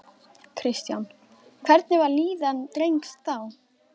Kristján: Hvernig var líðan drengs þá?